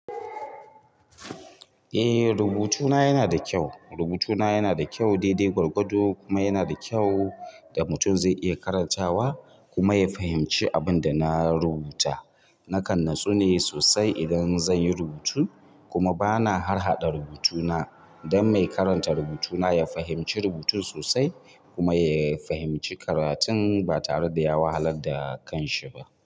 Eh rubutuna yana da kyau, rubutuna yana da kyau, daidai gwargwado kuma yana da kyau da mutum zai iya karantawa kuma ya fahimci abun da na rubuta. Nakan natsune sosai idan zan yi rubutu kuma bana harhaɗa rubutuna don mai karanta rubutuna ya fahimci rubutun sosai kuma ya fahimci karatun ba tare da ya wahalar da kanshi ba.